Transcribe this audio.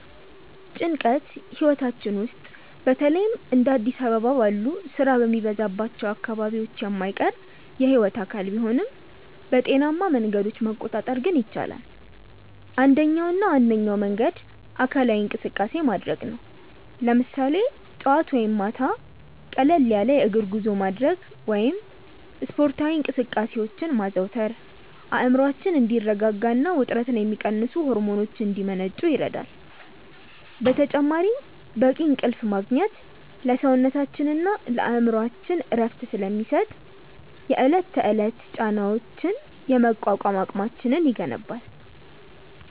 ጭንቀት ህይወታችን ውስጥ በተለይም እንደ አዲስ አበባ ባሉ ስራ በሚበዛባቸው አካባቢዎች የማይቀር የህይወት አካል ቢሆንም፣ በጤናማ መንገዶች መቆጣጠር ግን ይቻላል። አንደኛውና ዋነኛው መንገድ አካላዊ እንቅስቃሴ ማድረግ ነው፤ ለምሳሌ ጠዋት ወይም ማታ ቀለል ያለ የእግር ጉዞ ማድረግ ወይም ስፖርታዊ እንቅስቃሴዎችን ማዘውተር አእምሮአችን እንዲረጋጋና ውጥረትን የሚቀንሱ ሆርሞኖች እንዲመነጩ ይረዳል። በተጨማሪም በቂ እንቅልፍ ማግኘት ለሰውነታችንና ለአእምሮአችን እረፍት ስለሚሰጥ፣ የዕለት ተዕለት ጫናዎችን የመቋቋም አቅማችንን ይገነባል።